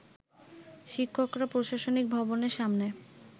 শিক্ষকরা প্রশাসনিক ভবনের সামনে